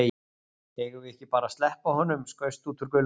Eigum við ekki bara að sleppa honum, skaust út úr Gulla.